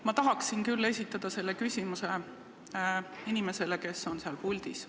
Ma tahaksin küll esitada selle küsimuse inimesele, kes on praegu puldis.